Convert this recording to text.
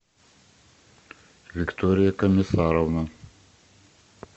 виктория комиссарова